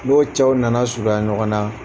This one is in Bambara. n'o cɛw nana surunya ɲɔgɔn na